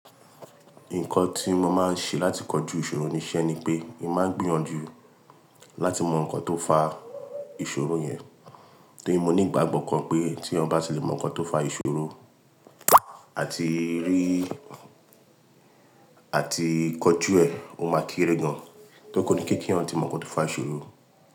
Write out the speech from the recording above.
Nǹkan tí mo máa ń ṣe láti kojú ìṣòro ni iṣẹ́ ni pé, ẹ máa gbìyànjú láti mọ nǹkan tó fa ìṣòro yẹn. Torí mo ní ìgbàgbọ́ kan pé tí èyàn bá sì le mọ nǹkan tó fa ìṣòro àti rí, àti kojú ẹ̀, ó máa kéré gan. Tó kò ní kíkí hàn ti mọ nǹkan tó fa ìṣòro.